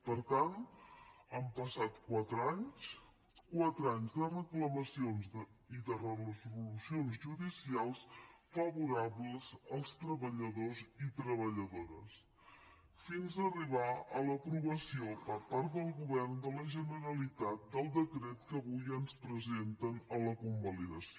per tant han passat quatre anys quatre anys de reclamacions i de resolucions judicials favorables als treballadors i treballadores fins a arribar a l’aprovació per part del govern de la generalitat del decret que vull ens presenten a la convalidació